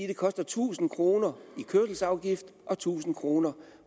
det koster tusind kroner i kørselsafgift og tusind kroner